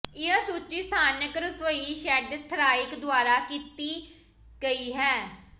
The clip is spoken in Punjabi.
ਇਹ ਸੂਚੀ ਸਥਾਨਕ ਰਸੋਈ ਸ਼ੈੱਡ ਥਰਾਇਕ ਦੁਆਰਾ ਤਿਆਰ ਕੀਤੀ ਗਈ ਹੈ